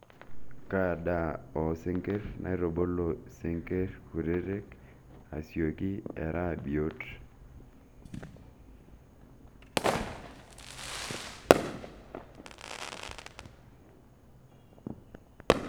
Kaa daa oosinkirr naitubulu sinkirr kutitik asioki era biot?